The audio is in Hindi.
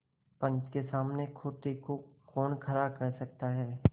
पंच के सामने खोटे को कौन खरा कह सकता है